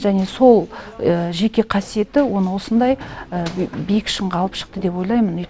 және сол жеке қасиеті оны осындай биік шыңға алып шықты деп ойлаймын